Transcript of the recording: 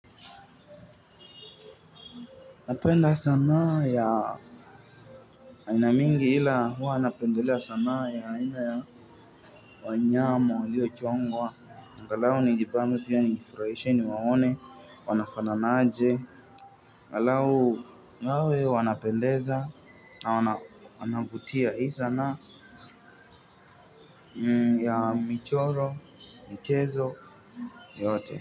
Napenda sanaa ya aina mingi ila huwa napendelea sanaa ya aina ya wanyama waliochongwa angalau nijibambe pia nijifurahishe niwaone wanafananaje angalau wawe wanapendeza na wanavutia hii sanaa ya michoro, michezo, yote.